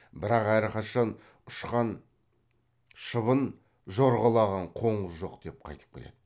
бірақ әрқашан ұшқан шыбын жорғалаған қоңыз жоқ деп қайтып келеді